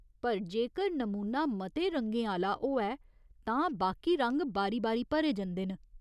पर जेकर नमूना मते रंगें आह्‌ला होऐ तां बाकी रंग बारी बारी भरे जंदे ने।